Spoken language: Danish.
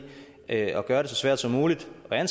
at gøre det så svært som muligt at